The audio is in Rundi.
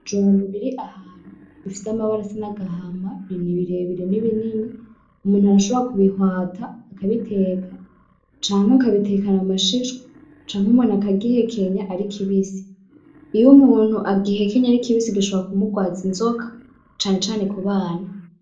Ibijumbu bir'ahantu bifise amabara y'agahama birebire na binini, umuntu arashobora kubihwata akabiteka canke akabitekana amashishwa canke umuntu aka kihekenya ar'ikibisi iy'umuntu agihekenye ar'ikibisi gishobora kumurwaza inzoka cane cane k'ubana.